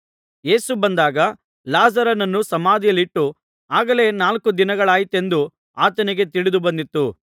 ಯೇಸು ಬಂದಾಗ ಲಾಜರನನ್ನು ಸಮಾಧಿಯಲ್ಲಿಟ್ಟು ಆಗಲೇ ನಾಲ್ಕು ದಿನಗಳಾಯಿತೆಂದು ಆತನಿಗೆ ತಿಳಿದು ಬಂದಿತು